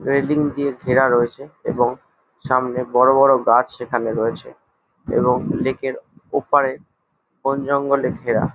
Railing দিয়ে ঘেরা রয়েছে এবং সামনে বড়ো বড়ো গাছ সেখানে রয়েছে এবং লেক -এর ওপারে বনজঙ্গলে ঘেরা।